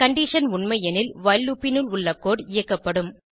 condition உண்மை எனில் while loop னுள் உள்ள கோடு இயக்கப்படும்